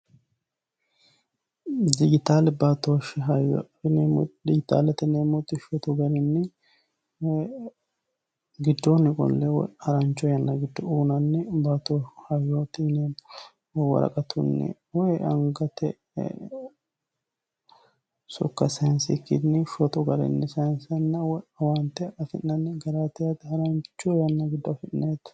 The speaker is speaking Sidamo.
Dijitaale baatoshi hayyo tinino giddoonni qolle harancho yanna giddo owaante afi'nanni doogoti yaate.